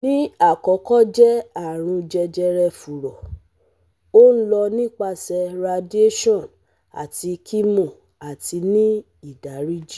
Ni akọkọ jẹ arun jejere furo, o lọ nipasẹ radiation ati chemo ati ni idariji